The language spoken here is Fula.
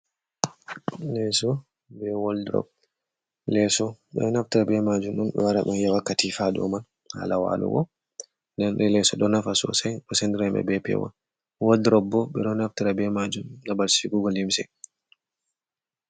Leeso be woddurob. Lesso ɓe ɗo naftiria be majum ɗun wara ɗum yewa katifa haa dow mai haala walugo, nden leeso ɗo nafa sosai do sendira himɓe be pewol. Woddorob bo ɓe ɗo naftira be majum babal sigugo limse.